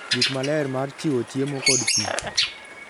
gik maler mar chiwo chiemo kod pi